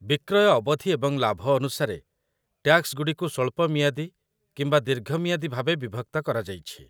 ବିକ୍ରୟ ଅବଧି ଏବଂ ଲାଭ ଅନୁସାରେ, ଟ୍ୟାକ୍ସଗୁଡ଼ିକୁ ସ୍ୱଳ୍ପ ମିଆଦୀ କିମ୍ବା ଦୀର୍ଘ ମିଆଦୀ ଭାବେ ବିଭକ୍ତ କରାଯାଇଛି